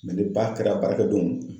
ni baara kɛla baarakɛ don .